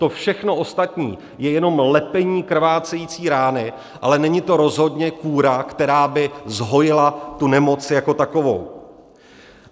To všechno ostatní je jenom lepení krvácející rány, ale není to rozhodně kúra, která by zhojila tu nemoc jako takovou.